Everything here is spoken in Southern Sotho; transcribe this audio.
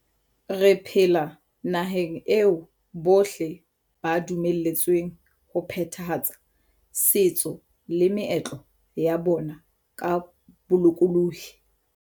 Re phela nahaneg eo bohle ba dumeletsweng ho phethahatsa setso le meetlo ya bona ka bolokolohi.